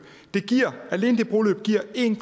alene det broløb giver en